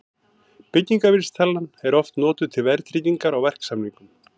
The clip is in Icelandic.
Byggingarvísitalan er oft notuð til verðtryggingar á verksamningum.